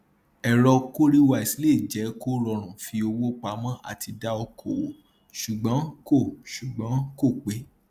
ẹrọ cowrywise lè jẹ kó rọrùn fi owó pamọ àti dá okoòwò ṣùgbọn kò ṣùgbọn kò pé